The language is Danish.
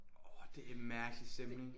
Orh det er en mærkelig stemning